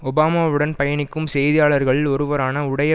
ஒபாமாவுடன் பயணிக்கும் செய்தியாளர்களில் ஒருவரான உடைய